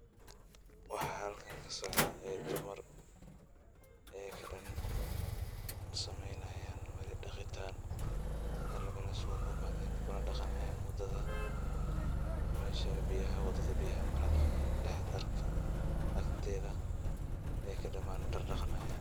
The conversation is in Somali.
Wax halkan kasocda dumar ayaka dan sameynayan daqitan hal mel ay isugu imaden mel wada mesha biyaha wada agteeda ayaka daman dar daqanayan.